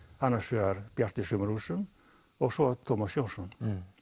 annars vegar Bjartur í sumarhúsum og svo Tómas Jónsson